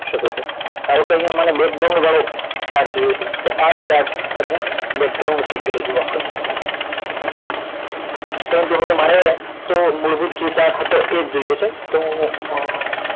શકો છો ધારો કે અહિયાં મને વાળો chart જોઈએ છે તો આ chart તમને થઈ ગયેલો જોવા મળશે પરંતુ હમણે મારે તો મૂળભૂત chart હતો એ જ જોઈએ છે તો હું અ